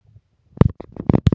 Gerði Ragnar eitthvað?